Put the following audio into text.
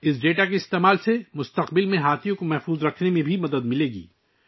اس data کے استعمال سے مستقبل میں ہاتھیوں کے تحفظ میں بھی مدد ملے گی